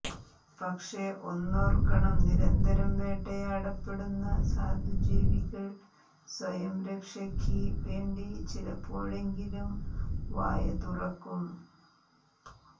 പക്ഷേ ഒന്നോർക്കണം നിരന്തരം വേട്ടയാടപ്പെടുന്ന സാധു ജീവികൾ സ്വയരക്ഷയ്ക്ക് വേണ്ടി ചിലപ്പോഴെങ്കിലും വായ തുറക്കും